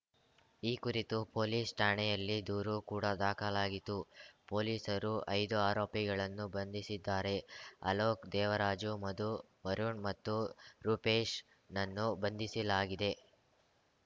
ಈ ಕುರಿತು ಪೊಲೀಸ್ ಠಾಣೆಯಲ್ಲಿ ದೂರು ಕೂಡ ದಾಖಲಾಗಿತ್ತು ಪೊಲೀಸರು ಐದು ಆರೋಪಿಗಳನ್ನು ಬಂಧಿಸಿದ್ದಾರೆ ಅಲೋಕ್ ದೇವರಾಜು ಮಧು ವರುಣ್ ಮತ್ತು ರೂಪೇಶ್ ನನ್ನು ಬಂಧಿಸಿಲಾಗಿದೆ